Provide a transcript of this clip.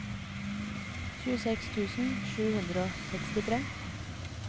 tjueseks tusen sju hundre og sekstitre